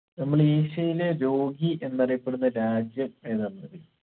നമ്മളെ ഏഷ്യയിലെ രോഗി എന്നറിയപ്പെടുന്ന രാജ്യം ഏതാന്നറിയോ